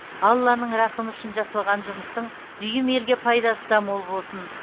алланың рақымы үшін жасалған жұмыстың дүйім елге пайдасы да мол болсын